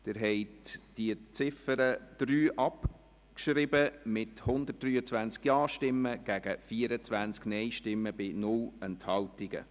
Sie haben die Ziffer 3 abgeschrieben mit 123 Ja- gegen 24 Nein-Stimmen bei 0 Enthaltungen.